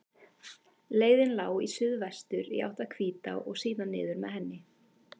Leiðin lá í suðvestur, í átt að Hvítá og síðan niður með henni.